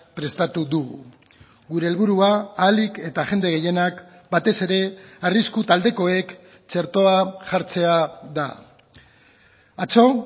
prestatu dugu gure helburua ahalik eta jende gehienak batez ere arrisku taldekoek txertoa jartzea da atzo